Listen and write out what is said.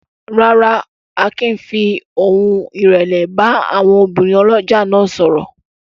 Rárá, Akin fi ohùn ìrẹ̀lẹ̀ bá àwọn obìnrin ọlọ́jà náà sọ̀rọ̀.